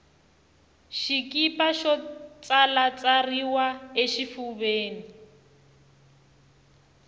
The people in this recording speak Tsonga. xikipa xo tsalatsariwa xifuveni